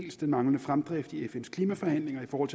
dels den manglende fremdrift i fns klimaforhandlinger for